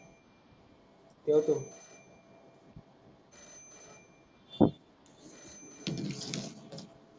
ठेवतो.